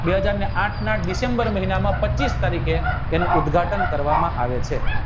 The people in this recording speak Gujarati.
બે હાજરને આઠના ડિસેમ્બર મહિનામાં પચીસ તારીખે એનું ઉદ્ઘાટન કરવામાં આવે છે